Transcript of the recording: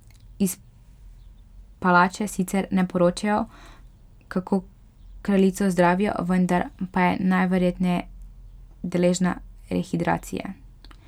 Iz palače sicer ne poročajo, kako kraljico zdravijo, vendar pa je najverjetneje deležna rehidracije.